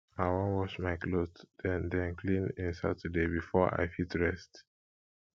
i wan wash my clothes den den clean in saturday before i fit rest